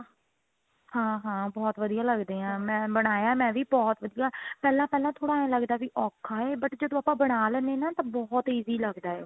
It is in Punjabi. ਹਾਂ ਹਾਂ ਬਹੁਤ ਵਧੀਆ ਲੱਗਦੇ ਆ ਮੈਂ ਬਣਾਇਆ ਮੈਂ ਵੀ ਬਹੁਤ ਵਧੀਆ ਪਹਿਲਾਂ ਪਹਿਲਾਂ ਥੋੜਾ ਐਂ ਲੱਗਦਾ ਵੀ ਔਖਾ ਆ but ਜਦੋਂ ਆਪਾਂ ਬਣਾ ਲੈਂਦੇ ਹਾਂ ਤਾਂ ਬਹੁਤ easy ਲੱਗਦਾ